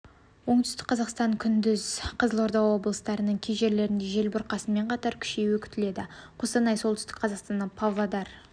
оңтүстікқазақстан күндіз қызылорда облыстарының кей жерлерінде жел бұрқасынмен қатар күшеюі күтіледі қостанай солтүстік қазақстан павлодар